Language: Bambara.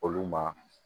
Olu ma